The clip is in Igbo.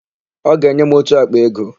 Ọ ga-enye m ótù àkpà ego.